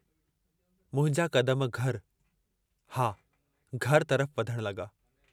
मुंहिंजा कदम घर... हा घर तरफ़ वधण लगा।